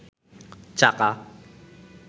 চাকা